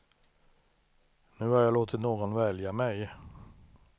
Nu har jag låtit någon välja mig.